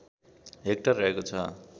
hectare रहेको छ